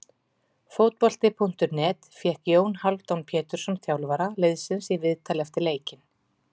Fótbolti.net fékk Jón Hálfdán Pétursson þjálfara liðsins í viðtal eftir leikinn.